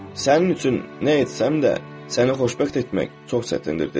Sənin üçün nə etsəm də, səni xoşbəxt etmək çox çətindir, dedi.